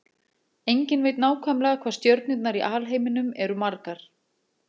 Enginn veit nákvæmlega hvað stjörnurnar í alheiminum eru margar.